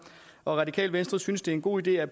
og radikale venstre synes det er en god idé at